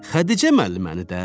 Xədicə müəlliməni də?